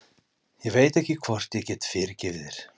Ég veit ekki hvort ég get fyrirgefið þér.